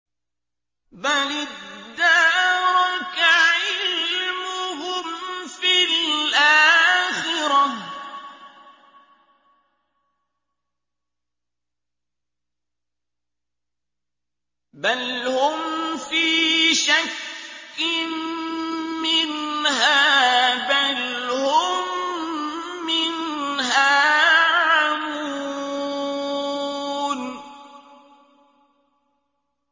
بَلِ ادَّارَكَ عِلْمُهُمْ فِي الْآخِرَةِ ۚ بَلْ هُمْ فِي شَكٍّ مِّنْهَا ۖ بَلْ هُم مِّنْهَا عَمُونَ